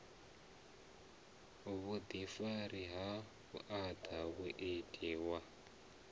vhuḓifari ha vhuaḓa muiti wa